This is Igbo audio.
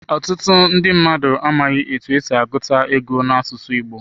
Otutu ndi mmadu amaghi etu esi aguta ego n'asusu igbo.